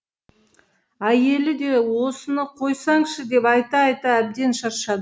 әйелі де осыны қойсаңшы деп айта айта әбден шаршады